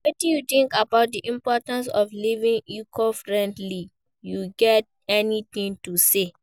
wetin you think about di importance of living eco-friendly, you get any thing to say?